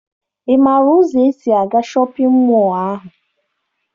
Ị maara ụzọ esi aga shọpịn mọọ ahụ?